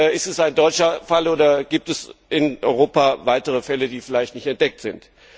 Ist dies ein deutscher Fall, oder gibt es in Europa weitere Fälle, die vielleicht nur nicht entdeckt sind?